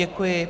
Děkuji.